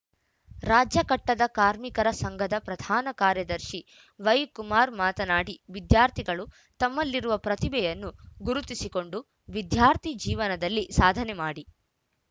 ರಾಜ್ಯ ಕಟ್ಟಡ ಕಾರ್ಮಿಕರ ಸಂಘದ ಪ್ರಧಾನ ಕಾರ್ಯದರ್ಶಿ ವೈಕುಮಾರ್‌ ಮಾತನಾಡಿ ವಿದ್ಯಾರ್ಥಿಗಳು ತಮ್ಮಲ್ಲಿರುವ ಪ್ರತಿಭೆಯನ್ನು ಗುರುತಿಸಿಕೊಂಡು ವಿದ್ಯಾರ್ಥಿ ಜೀವನದಲ್ಲಿ ಸಾಧನೆ ಮಾಡಿ